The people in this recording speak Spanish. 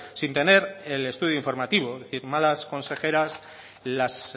sin tener el estudio informativo es decir malas consejeras las